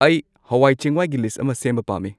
ꯑꯩ ꯍꯋꯥꯏ ꯆꯦꯡꯋꯥꯏꯒꯤ ꯂꯤꯁꯠ ꯑꯃ ꯁꯦꯝꯕ ꯄꯥꯃꯃꯤ